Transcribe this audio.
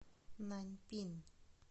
наньпин